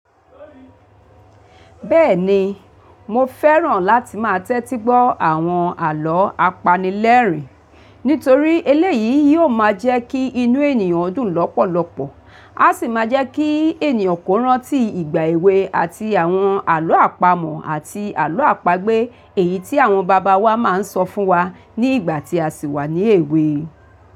Bẹ́ẹ̀ni, mo fẹ́ràn láti máa tẹ́tí gbọ́ àwọn àlọ́ apanilẹ́rìn nítorí eléyìí yóò máa jẹ́ kí inú ènìyàn dùn lọ́pọ̀lọpọ̀, á sì máa jẹ́ kí ènìyàn kò rántí ìgbà èwe àti àwọn àlọ́ àpamọ̀ àti àlọ́ àpagbè èyí tí àwọn bàbá wa máa ń sọ fún wa ní ìgbà tí a sì wà ní èwe.